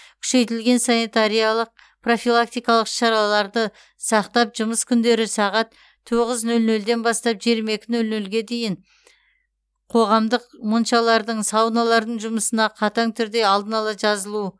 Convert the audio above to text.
күшейтілген санитариялық профилактикалық іс шараларды сақтап жұмыс күндері сағат тоғыз нөл нөлден бастап жиырма екі нөл нөлге дейін қоғамдық моншалардың сауналардың жұмысына қатаң түрде алдын ала жазылу